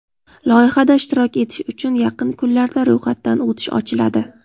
Loyihada ishtirok etish uchun yaqin kunlarda ro‘yxatdan o‘tish ochiladi.